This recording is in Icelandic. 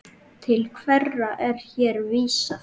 Til hverra er hér vísað?